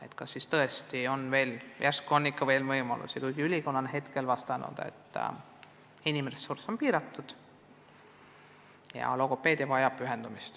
Ehk siiski on veel lisavõimalusi, kuigi ülikool on esialgu vastanud, et inimressurss on piiratud ja logopeedia vajab suurt pühendumist.